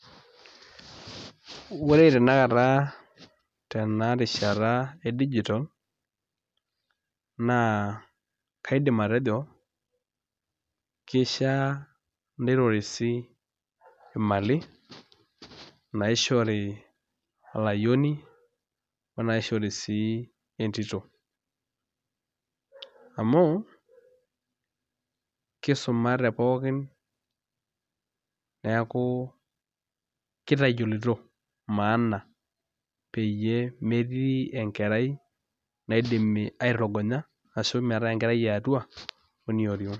Ore tanakata tena rishata e dijital naa kaidim atejo keishiaa nitorisi imali naishori olayiono o naishori sii entito amu kisumate pookin neeku kitayioloito maana peyie metii enkerai naidimi aitorogonya ashu meetai enkerai e atua o enioriong'.